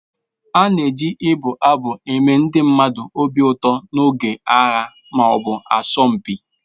A na-eji ibụ abụ eme ndị mmadụ obi ụtọ n'oge agha ma ọ bụ asọmpi